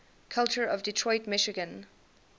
culture of detroit michigan